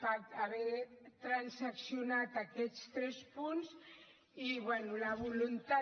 a haver transaccionat aquests tres punts i la voluntat